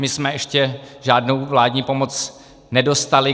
My jsme ještě žádnou vládní pomoc nedostali.